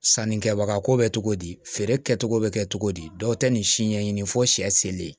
Sannikɛbaga ko bɛ cogo di feere kɛcogo bɛ kɛ cogo di dɔw tɛ nin si ɲɛɲini fo sɛ ye